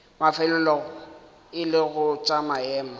mafelelong e lego tša maemo